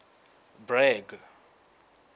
bragg